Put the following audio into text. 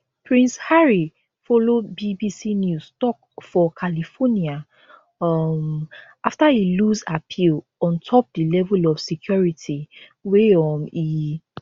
prince harry follow bbc news tok for california um afta e lose appeal on top di level of security wey um e